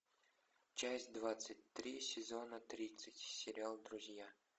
часть двадцать три сезона тридцать сериал друзья